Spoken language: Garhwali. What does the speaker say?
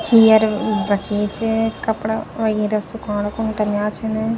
चेयर रखीं च कपड़ा वगेरह सुखाणा खुण टांग्या छन।